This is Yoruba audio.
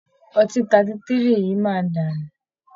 Ọtí 33 yìí máa dànù